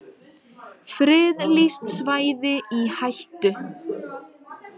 Friðlýst svæði í hættu